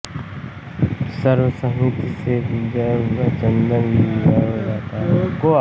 सर्वसहमति से गुंजा और चन्दन का विवाह हो जाता है